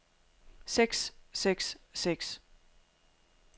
seks seks seks